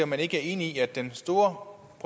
man ikke er enig i at den store